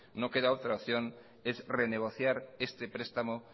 no queda otra opción es renegociar este prestamo